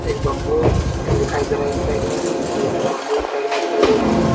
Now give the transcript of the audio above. एक बंबू दिखाई दे रहा है। इस साइड में भी दो तीन बंबू इस साइड में भी दिखाई दे रहे हैं।